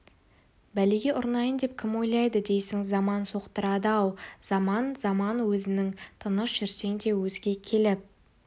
бәлеге ұрынайын деп кім ойлайды дейсің заман соқтықтырады-ау заман заман өзің тыныш жүрсең де өзге келіп